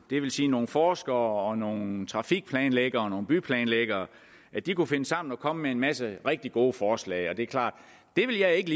det vil sige nogle forskere nogle trafikplanlæggere og nogle byplanlæggere kunne finde sammen og komme med en masse rigtig gode forslag og det er klart at det vil jeg ikke